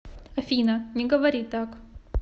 афина не говори так